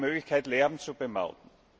Wir haben die Möglichkeit Lärm zu bemauten.